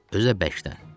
Özü də bərkdən.